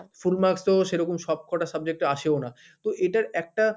full marks তো সেরকম সব কটা subject এ আসেও না, তো এটার একটা